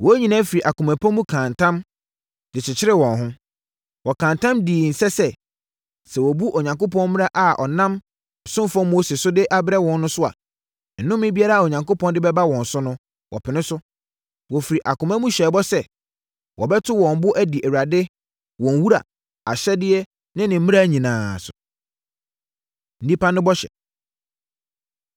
wɔn nyinaa firi akoma pa mu kaa ntam, de kyekyeree wɔn ho. Wɔkaa ntam dii nse sɛ, sɛ wɔbu Onyankopɔn mmara a ɔnam ne ɔsomfoɔ Mose so de abrɛ wɔn no so a, nnome biara a Onyankopɔn de bɛba wɔn so no, wɔpene so. Wɔfiri akoma mu hyɛɛ bɔ sɛ, wɔbɛto wɔn bo adi Awurade, wɔn Wura, ahyɛdeɛ ne ne mmara nyinaa so. Nnipa No Bɔhyɛ